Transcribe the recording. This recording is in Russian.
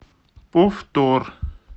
повтор